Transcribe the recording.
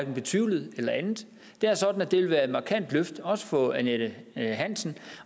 betvivlet og det vil være et markant løft også for annette hansen